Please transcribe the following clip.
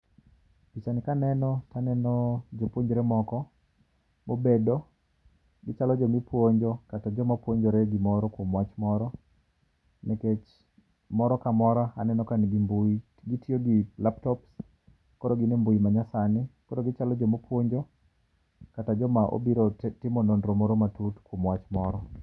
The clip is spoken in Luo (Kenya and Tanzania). Pichani kaneno to aneno jopuonjre moko mobedo. Gichalo joma ipuonjo kata joma puonjore gimoro kuom wach moro nikech moro ka moro aneno ka nigi mbui. Gitiyo gi laptop koro gin e mbui ma nyasani. Koro gichalo joma ipuonjo kata joma obiro timo nonro moro matut kuom wach moro.